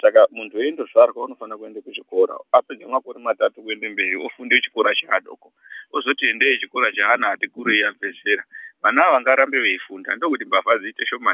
Saka muntu eindozvarwa unofane kuende kuchikora apedze makore matatu kuende mberi ofunda chikora cheadoko, ozoti endei chikoro cheana atikurei abve zera. Vanawo ngavarambe veiifunda ndokuti mbavha dziite shoma.